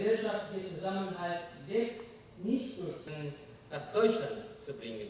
Və ictimai birlik böyümür, Almaniyanı gətirmək üçün.